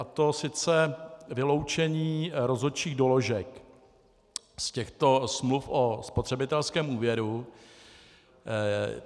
A to sice vyloučení rozhodčích doložek z těchto smluv o spotřebitelském úvěru.